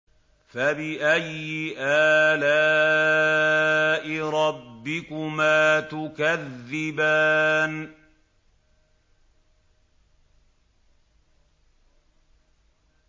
فَبِأَيِّ آلَاءِ رَبِّكُمَا تُكَذِّبَانِ